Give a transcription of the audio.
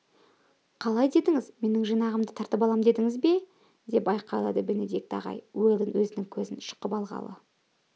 қалай дедіңіз менің жинағымды тартып алам дедіңіз бе деп айқайлады бенедикт ағай уэлдон өзінің көзін шұқып алғалы